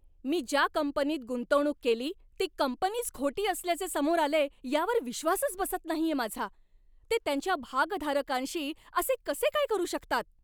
मी ज्या कंपनीत गुंतवणूक केली ती कंपनीच खोटी असल्याचे समोर आलेय यावर विश्वासच बसत नाहीये माझा. ते त्यांच्या भागधारकांशी असे कसे काय करू शकतात?